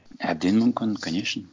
әбден мүмкін конечно